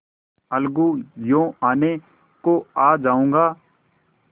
अलगूयों आने को आ जाऊँगा